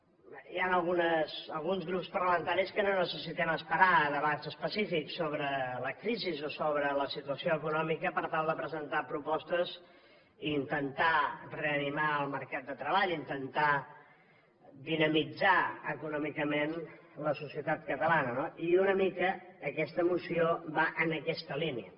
hi han alguns grups parlamentaris que no necessitem esperar a debats específics sobre la crisi o sobre la situació econòmica per tal de presentar propostes i intentar reanimar el mercat de treball i intentar dinamitzar econòmicament la societat catalana no i una mica aquesta moció va en aquesta línia